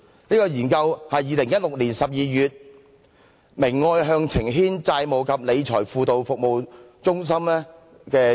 這項研究是2016年12月由明愛向晴軒債務及理財輔導服務中心發表的。